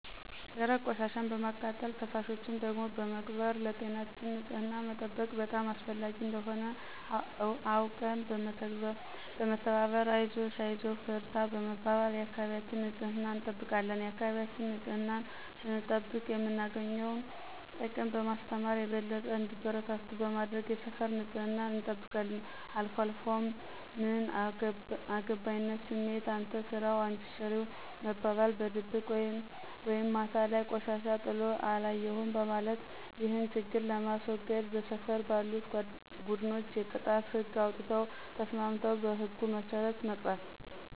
ደረቅ ቆሻሻን በማቃጠል ፈሳሾችን ደግሞ በመቅበር ለጤናችን ንፅህናን መጠበቅ በጣም አስፈላጊ እንደሆነ አውቀን በመተባበር አይዞሽ አይዞህ በርታ በመባባል የአካባቢያችን ንፅህና እንጠብቃለን የአካባቢያችን ንፅህናን ስንጠብቅ የምናገኘውን ጥቅም በማስተማር የበለጠ እንዲበረታቱ በማድረግ የሰፈር ንፅህናን እንጠብቃለን። አልፏልፎ ምን አገባይነት ስሜት፣ አንተ ስራው አንች ስሪው መባባል፣ በድብቅ ወይም ማታ ላይ ቆሻሻ ጥሎ አለየሁም ማለት። ይህን ችግር ለማስዎገድ በሰፈር ባሉት ቡድኖች የቅጣት ህግ አውጥተው ተስማምተው በህጉ መስረት መቅጣት።